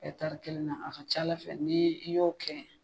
E tari kelen na a ca ala fɛ n'i n'i i y'o kɛ